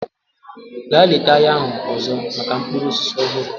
Gaa leta ahịa ahụ ọzọ maka mkpụrụ osisi ọhụrụ!